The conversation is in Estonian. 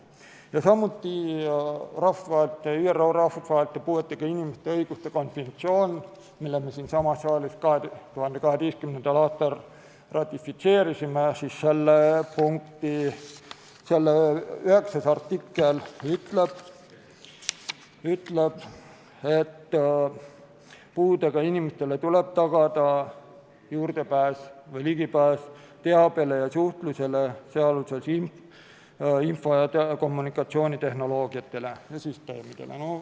Ja samuti rahvusvahelise ÜRO puuetega inimeste õiguste konventsiooni, mille me siinsamas saalis 2012. aastal ratifitseerisime, 9. artikkel ütleb, et puudega inimestele tuleb tagada juurdepääs teabele ja suhtlusele, sealhulgas info- ja kommunikatsioonitehnoloogiatele ja -süsteemidele.